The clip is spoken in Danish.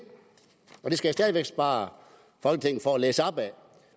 det skal jeg stadig væk spare folketinget for at læse op af